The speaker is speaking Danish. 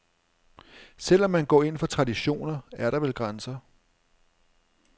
Selv om man går ind for traditioner, er der vel grænser.